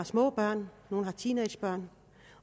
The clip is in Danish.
små børn nogle havde teenagebørn